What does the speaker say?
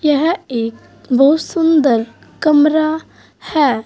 यह एक बहुत सुंदर कमरा है।